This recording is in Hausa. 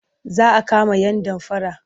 Za a kama yan damfara.